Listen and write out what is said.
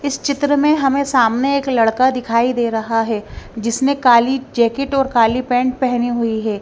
इस चित्र में हमें सामने एक लड़का दिखाई दे रहा है जिसने काली जैकेट और काली पैंट पहनी हुई है।